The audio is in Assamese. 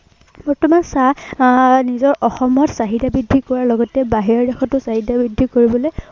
বৰ্তমান চাহ আহ নিজৰ অসমত চাহিদা বৃদ্ধি কৰাৰ লগতে বাহিৰৰ দেশতো চাহিদা বৃদ্ধি কৰিবলৈ